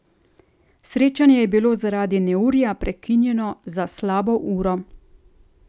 Srečanje je bilo zaradi neurja prekinjeno za slabo uro.